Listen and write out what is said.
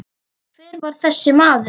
Hver var þessi maður?